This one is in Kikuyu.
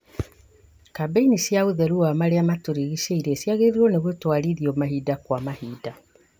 Kambĩ-ini cia ũtheru wa marĩa matũrigicĩirie cĩagĩrĩirwo nĩ gũtwarithio mahinda kwa mahinda